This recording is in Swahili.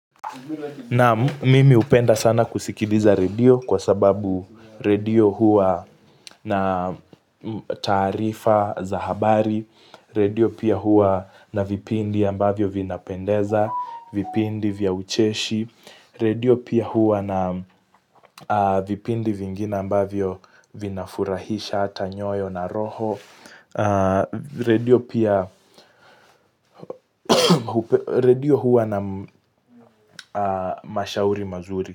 Naam mimi hupenda sana kusikiliza redio kwa sababu redio huwa na taarifa za habari, redio pia huwa na vipindi ambavyo vinapendeza, vipindi vya ucheshi, redio pia huwa na vipindi vingine ambavyo vinafurahisha hata nyoyo na roho, redio huwa na mashauri mazuri.